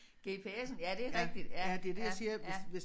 Gps'en ja det rigtigt ja ja ja